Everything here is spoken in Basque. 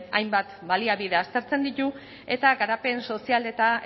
hainbat baliabide aztertzen ditu eta garapen sozial eta